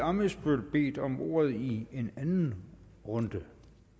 ammitzbøll bedt om ordet i en anden runde det